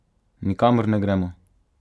Nikamor ne gremo!